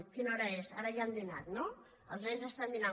quina hora és ara ja han dinat no els nens estan dinant